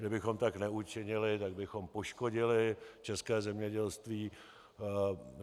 Kdybychom tak neučinili, tak bychom poškodili české zemědělství.